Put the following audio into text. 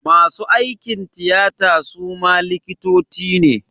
Masu aikin tiyata suma likitoci ne